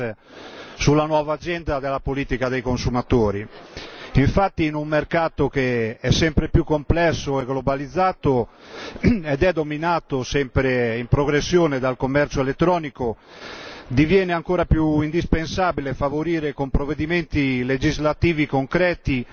Garcés Ramón sulla nuova agenda della politica dei consumatori. Infatti, in un mercato che è sempre più complesso e globalizzato ed è dominato sempre in progressione dal commercio elettronico, diviene ancora più indispensabile favorire con provvedimenti legislativi concreti